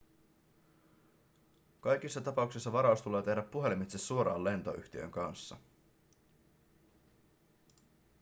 kaikissa tapauksissa varaus tulee tehdä puhelimitse suoraan lentoyhtiön kanssa